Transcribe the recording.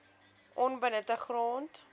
onbenutte grond